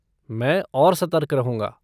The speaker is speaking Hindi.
मैं और सतर्क रहूंगा।